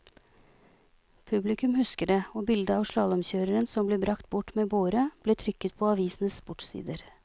Publikum husker det, og bildet av slalåmkjøreren som ble bragt bort med båre, ble trykket på avisenes sportssider.